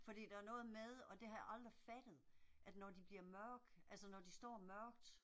Fordi der er noget med, og det har jeg aldrig fattet, at de bliver mørke, altså når de står mørkt